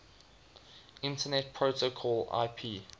internet protocol ip